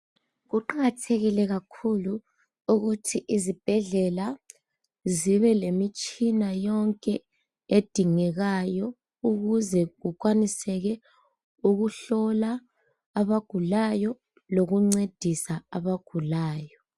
Kuqakathekile kakhulu ukuthi izibhedlela zibe lemitshina yonke edingekayo ukuze kukwaniseke ukuhlola abagulayo lokuncedisa abagulayo